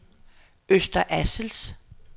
Øster Assels